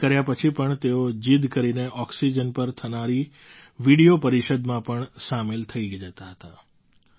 મનાઈ કર્યા પછી પણ તેઓ જિદ કરીને ઑક્સિજન પર થનારી વિડિયો પરિષદમાં પણ સામેલ થઈ જતા હતા